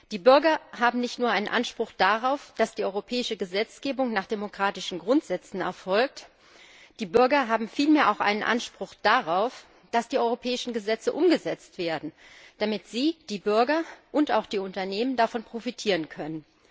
Die Bürger haben nicht nur einen Anspruch darauf, dass die europäische Gesetzgebung nach demokratischen Grundsätzen erfolgt, die Bürger haben vielmehr auch einen Anspruch darauf, dass die europäischen Gesetze umgesetzt werden, damit sie die Bürger und auch die Unternehmen davon profitieren können.